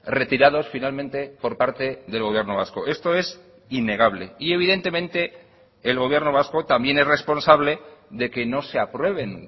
retirados finalmente por parte del gobierno vasco esto es innegable y evidentemente el gobierno vasco también es responsable de que no se aprueben